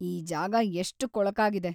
ಈ ಜಾಗ ಎಷ್ಟ್ ಕೊಳಕಾಗಿದೆ.